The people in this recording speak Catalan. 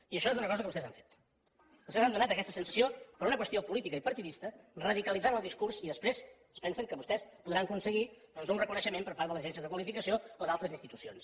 i això és una cosa que vostès han fet vostès han donat aquesta sensació per una qüestió política i partidista radicalitzant el discurs i després es pensen que vostès podran aconseguir doncs un reconeixement per part de les agències de qualificació o d’altres institucions